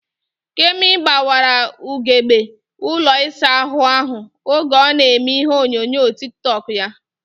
Kemi gbawara ugegbe ụlọ isa ahụ ahụ oge ọ na eme ihe onyonyo tik tọk ya